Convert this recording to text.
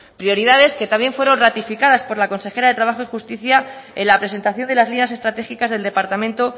prioridades que también fueron ratificadas por la consejera de trabajo y justicia en la presentación de las líneas estratégicas del departamento